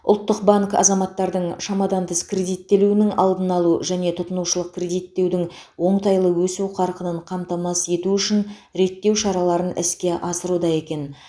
ұлттық банк азаматтардың шамадан тыс кредиттелуінің алдын алу және тұтынушылық кредиттеудің оңтайлы өсу қарқынын қамтамасыз ету үшін реттеу шараларын іске асыруда екен